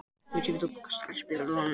Áslákur, spilaðu lag.